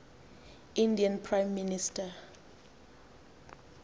indian prime minister